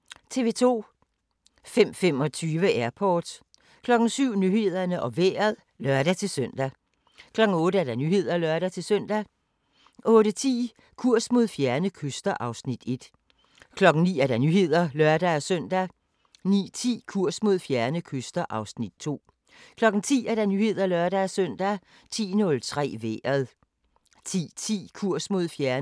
05:25: Airport 07:00: Nyhederne og Vejret (lør-søn) 08:00: Nyhederne (lør-søn) 08:10: Kurs mod fjerne kyster (Afs. 1) 09:00: Nyhederne (lør-søn) 09:10: Kurs mod fjerne kyster (Afs. 2) 10:00: Nyhederne (lør-søn) 10:03: Vejret 10:10: Kurs mod fjerne kyster (Afs. 3) 11:00: Nyhederne (lør-søn)